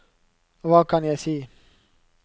hva kan jeg si